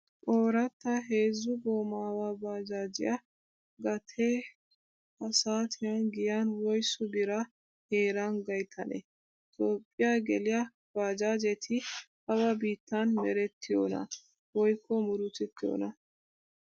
Ooratta heezzu goomaawa baajaajiyaa gatee ha saatiyan giyan woysu biraa heeran gayttanee? Toophphiyaa geliya baajaajeti awa biittan merettiyonaa woykko murutettiyonaa?